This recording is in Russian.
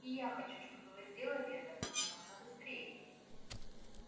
и я хочу чтобы вы сделали это как можно быстрее